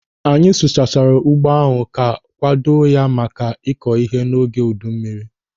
Anyị sụchasiri ugbo ahụ ka akwado ya maka ịkọ ihe n'oge udu mmiri.